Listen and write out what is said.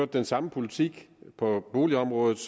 den samme politik på boligområdet